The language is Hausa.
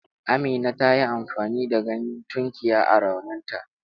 Amina ta yi amfani da ganyen tunkiya a rauninta.